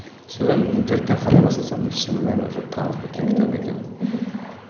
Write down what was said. содан интернеттен қарай бастасам шынымен уже танылып кеткен кітап екен